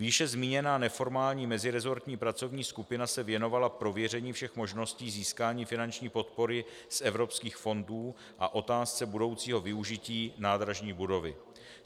Výše zmíněná neformální meziresortní pracovní skupina se věnovala prověření všech možností získání finanční podpory z evropských fondů a otázce budoucího využití nádražní budovy.